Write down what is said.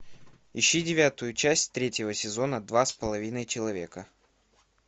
ищи девятую часть третьего сезона два с половиной человека